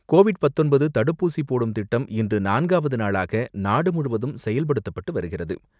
Covid பத்தொன்பது தடுப்பூசிபோடும் திட்டம் இன்று நான்காவது நாளாக நாடு முழுவதும் செயல்படுத்தப்பட்டு வருகிறது.